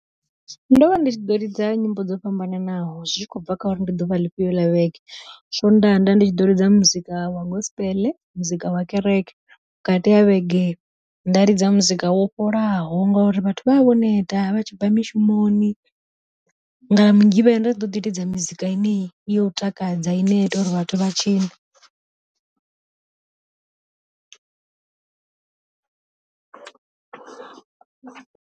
Ndo vha ndi tshi ḓo ḽidza nyimbo dzo fhambananaho, zwikhobva kha uri ndi ḓuvha ḽi fhiyo ḽa vhege, swondaha nda ndi tshi ḓo lidza muzika wa gospel muzika wa kereke. Vhukati ha vhege nda lidza muzika wo fholaho ngori vhathu vha vha vho neta vha tshibva mishumoni, nga mugivhela nda ḓoḓi lidza mizika yeneyi ya u takadza ine ya ita uri vhathu vha tshine.